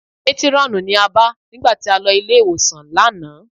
Métírọ́ọ̀nù ni a bá nígbà tí a lọ ilé-ìwòsàn lánàá